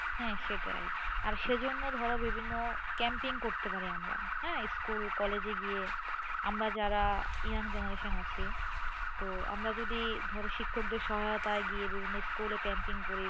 হ্যাঁ সেটাই। আর সেজন্য ধরো বিভিন্ন campaign করতে পারি আমরা হ্যাঁ school college এ গিয়ে আমরা যারা young generation আছি, তো আমরা যদি ধরো শিক্ষকদের সহায়তায় গিয়ে বিভিন্ন school এ campaign করি,